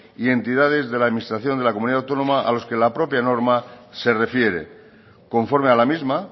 y entidades de la administración de la comunidad autónoma a los que la propia norma se refiere conforme a la misma